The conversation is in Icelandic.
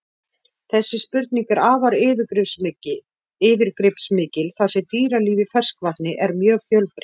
Þessi spurning er afar yfirgripsmikil þar sem dýralíf í ferskvatni er mjög fjölbreytt.